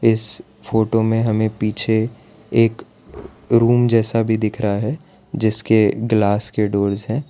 इस फोटो हमे पीछे एक रूम जैसा भी दिख रहा है जिसके ग्लास के डोरस है।